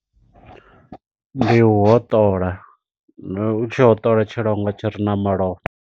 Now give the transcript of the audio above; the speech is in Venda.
Ndi u hoṱola, u tshi hoṱola tshilwangwa tshi re na malofha.